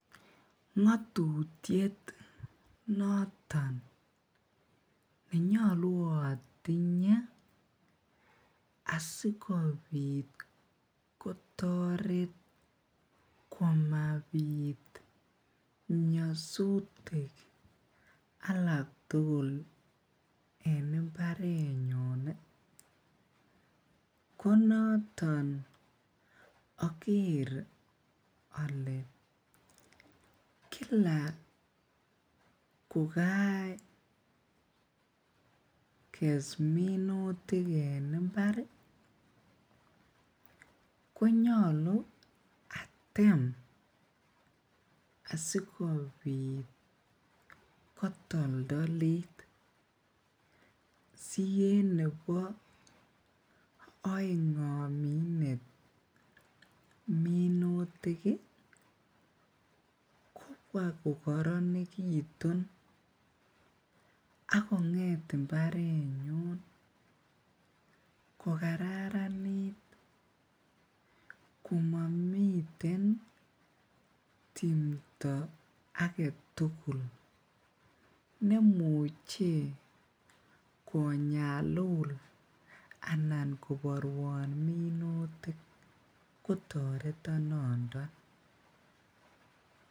Ng'atutiet noton nenyalu atinye asikobit kotaret komabit nyasutik alak tugul en imbarenyu konata akere ale Kila kokages minutik en imbar ih , konyalu atem sisibkobit kotoltolit sien nebaaeng kong'et minutik ih akokaranekitu akong'et imbarenyu kokaranit komamiten timto agetugul nemuche konyalul anan kobarwon minutik kotareton noto.